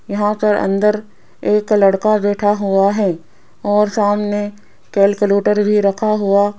यहां पर अंदर एक लड़का बैठा हुआ है और सामने कैलकुलेटर भी रखा हुआ --